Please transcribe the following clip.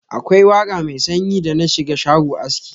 Akwai waka mai sanyi da na shiga shago aski.